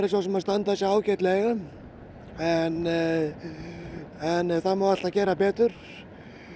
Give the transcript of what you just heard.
svo sem að standa sig ágætlega en en það má alltaf gera betur